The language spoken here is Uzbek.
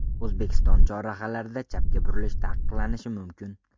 O‘zbekiston chorrahalarida chapga burilish taqiqlanishi mumkin.